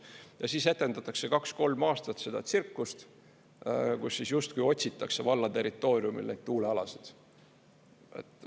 Ja siis etendatakse kaks-kolm aastat seda tsirkust, kus justkui otsitakse valla territooriumil neid tuulealasid.